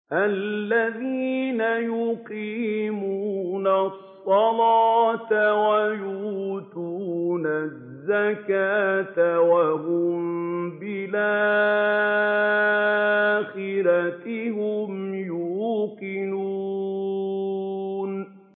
الَّذِينَ يُقِيمُونَ الصَّلَاةَ وَيُؤْتُونَ الزَّكَاةَ وَهُم بِالْآخِرَةِ هُمْ يُوقِنُونَ